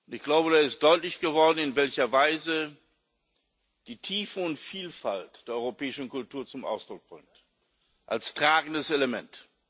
Ich glaube, da ist deutlich geworden, in welcher Weise die Tiefe und Vielfalt der europäischen Kultur zum Ausdruck kommt als tragendes Element.